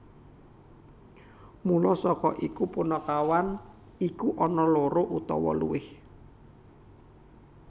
Mula saka iku punakawan iku ana loro utawa luwih